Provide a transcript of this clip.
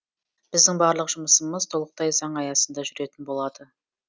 біздің барлық жұмысымыз толықтай заң аясында жүретін болады